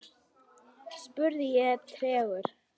spurði ég tregur.